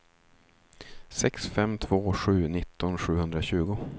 sex fem två sju nitton sjuhundratjugo